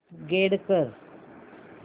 upgrade कर